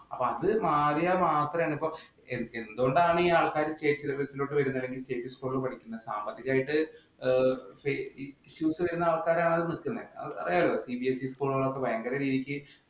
അപ്പോ അത് മാറിയാൽ മാത്രമേ എന്തുകൊണ്ടാണ് ഈ ആൾക്കാർ State syllabus ഇലോട്ട് വരുന്നത് അല്ലെങ്കില്‍ state school പഠിക്കുന്നേ. സാമ്പത്തികമായിട്ട് അറിയാലോ CBSE school ഇലൊക്കെ ഭയങ്കര രീതിക്ക്